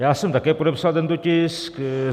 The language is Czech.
Já jsem také podepsal tento tisk.